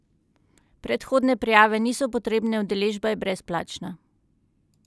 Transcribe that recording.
Predhodne prijave niso potrebne, udeležba je brezplačna!